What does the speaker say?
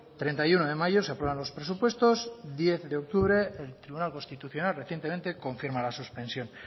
treinta y uno de mayo se aprueban los presupuestos diez de octubre el tribunal constitucional recientemente confirma la suspensión